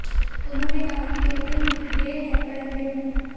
उन्होंने कहा कि कहते हैं कि देर है पर अंधेर नहीं